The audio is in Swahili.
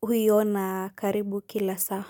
huuona karibu kila saa.